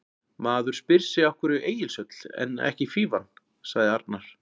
Maður spyr sig af hverju Egilshöll, en ekki Fífan? sagði Arnar.